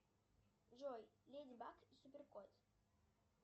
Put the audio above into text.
джой леди баг и супер кот